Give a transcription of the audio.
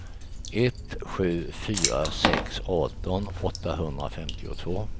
ett sju fyra sex arton åttahundrafemtiotvå